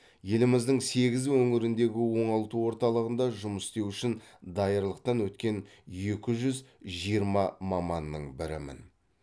еліміздің сегіз өңіріндегі оңалту орталығында жұмыс істеу үшін даярлықтан өткен екі жүз жиырма маманның бірімін